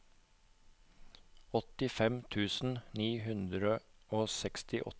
åttifem tusen ni hundre og sekstiåtte